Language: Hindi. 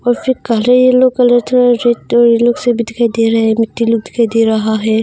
और फिर काले येलो कलर थोड़ा रेड दिखाई दे रहा है मिट्टी लोग दिखाई दे रहा है।